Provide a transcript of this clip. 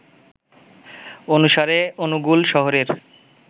অনুসারে অনুগুল শহরের